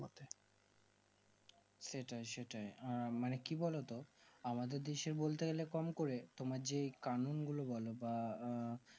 সেটাই সেটাই আঃ মানে কি বোলো আমাদের দেশে বলতে গেলে কম করে তোমার যে কারণ গুলো বোলো বা আঃ